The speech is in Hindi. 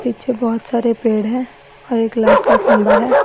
पीछे बहोत सारे पेड़ हैं और एक लाइट का खंभा है।